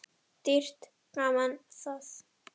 Dýrt gaman það.